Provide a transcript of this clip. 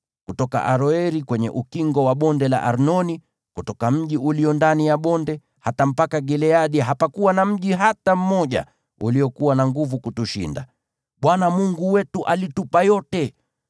Kutoka Aroeri kwenye ukingo wa Bonde la Arnoni, kutoka mji ulio ndani ya bonde, hata mpaka Gileadi, hapakuwa na mji hata mmoja uliokuwa na nguvu kutushinda. Bwana Mungu wetu alitupa yote.